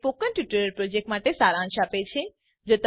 તે spoken tutorial project માટે સારાંશ આપે છે